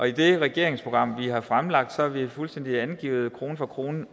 i det regeringsprogram vi har fremlagt har vi fuldstændig angivet krone for krone